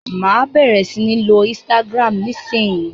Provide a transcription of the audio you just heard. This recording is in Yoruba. Máa bẹ̀rẹ̀ sí ní lo Instagram nisinyi.